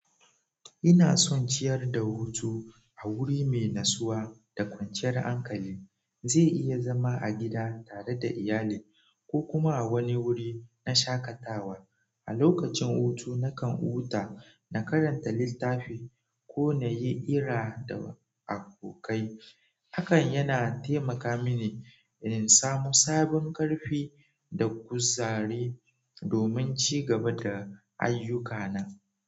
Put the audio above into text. Ina son ciyar da hutu a wuri mai nasuwa da kwanciyar hankali. Zai iya zama a gida tare da iyali ko kuma a wani wuri na shakatawa. A lokacin hutu, nakan huta, na karanta littafi ko na yi ira da abokai. Hakan yana taimaka mini in samu sabon ƙarfi da guzari domin cigaba da ayyuka na.